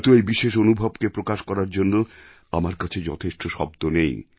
হয়তো এই বিশেষ অনুভবকে প্রকাশ করার জন্য আমার কাছে যথেষ্ট শব্দ নেই